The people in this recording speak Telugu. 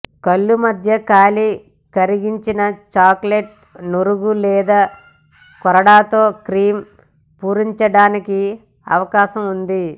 కళ్ళు మధ్య ఖాళీ కరిగించిన చాక్లెట్ నురుగు లేదా కొరడాతో క్రీమ్ పూరించడానికి అవకాశం ఉంది